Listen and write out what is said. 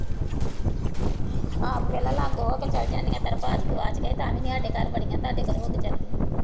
ਆਪ ਦੇਖ ਲਾ ਲਾਬੋ ਹੋ ਕੇ ਚਲੀ ਜਾਂਦੀ ਹੈ ਤਾਂ ਵੀ ਨੀ ਸਾਡੇ ਘਰ ਵੜੀਆਂ, ਤੁਹਾਡੇ ਘਰ ਹੋ ਕੇ ਚਲੇ ਗਈਆਂ।